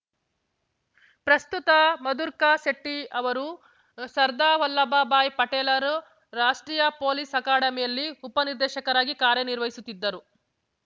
ಪ್ರಸ್ತುತ ಮಧುರ್ಕ ಶೆಟ್ಟಿಅವರು ಸರ್ದಾ ವಲ್ಲಭಭಾಯ್‌ ಪಟೇಲ್‌ರು ರಾಷ್ಟ್ರೀಯ ಪೊಲೀಸ್‌ ಅಕಾಡೆಮಿಯಲ್ಲಿ ಉಪ ನಿರ್ದೇಶಕರಾಗಿ ಕಾರ್ಯ ನಿರ್ವಹಿಸುತ್ತಿದ್ದರು